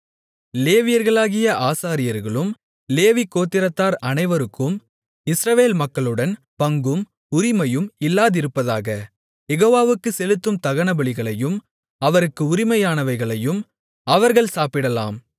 லேவியர்களாகிய ஆசாரியர்களும் லேவிகோத்திரத்தார் அனைவருக்கும் இஸ்ரவேல் மக்களுடன் பங்கும் உரிமையும் இல்லாதிருப்பதாக யெகோவாவுக்குச் செலுத்தும் தகனபலிகளையும் அவருக்கு உரிமையானவைகளையும் அவர்கள் சாப்பிடலாம்